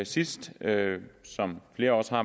sidst som flere også har